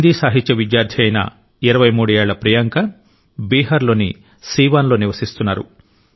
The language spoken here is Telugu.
హిందీ సాహిత్య విద్యార్థి అయిన 23 ఏళ్ల ప్రియాంక బీహార్లోని సీవాన్ లో నివసిస్తున్నారు